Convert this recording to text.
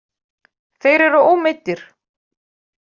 Þeir eru ómeiddir